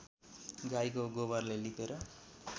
गाईको गोबरले लिपेर